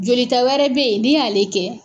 Jolita wɛrɛ bɛ ye n'i y'ale kɛ